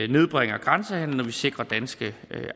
nedbringer grænsehandelen og sikrer danske